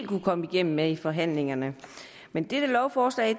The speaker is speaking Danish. kunne komme igennem med i forhandlingerne men dette lovforslag